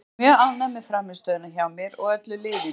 Ég er mjög ánægð með frammistöðuna hjá mér og öllu liðinu.